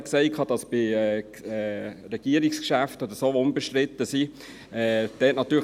Er hat die Regierungsgeschäfte erwähnt, welche unbestritten sind.